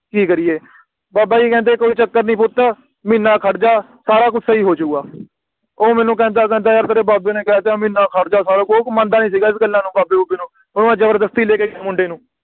ਕਿ ਕਰੀਏ ਬਾਬਾ ਜੀ ਕਹਿੰਦੇ ਕੋਈ ਚੱਕਰ ਨੀ ਪੁੱਤ ਮਹੀਨਾ ਖੜ ਜਾ ਸਾਰਾ ਕੁਛ ਸਹੀ ਹੋ ਜੁਗਾ ਉਹ ਮੈਨੂੰ ਕਹਿੰਦਾ ਕਹਿੰਦਾ ਯਾਰ ਤੇਰੇ ਬਾਬੇ ਨੇ ਕਹਿ ਤਾ ਮਹੀਨਾ ਖੜ ਜਾ ਸਾਰਾ ਕੁ ਵੀ ਉਹ ਮੰਨਦਾ ਨੀ ਸੀਗਾ ਇਸ ਗੱਲਾਂ ਨੂੰ ਬਾਬੇ ਬੂਬੇ ਨੂੰ ਹੋਰ ਜਬਰਦਸਤੀ ਲੈ ਕੇ ਗਏ ਮੁੰਡੇ ਨੂੰ